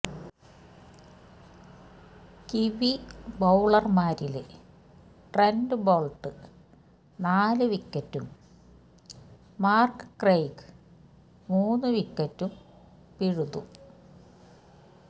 kiwi ബൌളര്മാരില് Trent Boult നാലു വിക്കറ്റും മാര്ക്ക് ക്രെയ്ഗ് മൂന്നു വിക്കറ്റും പിഴുതു